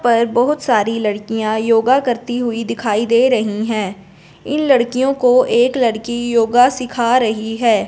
पर बहुत सारी लड़कियां योगा करती हुई दिखाई दे रही है इन लड़कियों को एक लड़की योगा सीखा रही है।